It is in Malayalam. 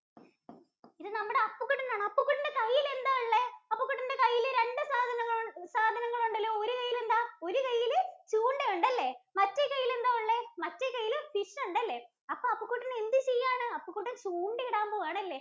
ഇത് നമ്മുടെ അപ്പുകുട്ടന്‍ ആണ്. അപ്പുകുട്ടന്‍റെ കയ്യിൽ എന്താ ഉള്ളേ? അപ്പുകുട്ടന്‍റെ കയ്യിൽ രണ്ട് സാധനങ്ങള്‍ സാധനങ്ങള്‍ ഉണ്ടല്ലോ? ഒരു കയ്യിൽ എന്താ? ഒരു കൈയില് ചൂണ്ട ഉണ്ട്, അല്ല? മറ്റേ കൈയില് എന്താ ഉള്ളേ മറ്റേ കൈയില് fish ഉണ്ടല്ലേ? അപ്പൊ അപ്പുകുട്ടന്‍ എന്ത് ചെയ്യുവാണ്? അപ്പുകുട്ടന്‍ ചൂണ്ടയിടാന്‍ പോവുകയാണ് അല്ലെ?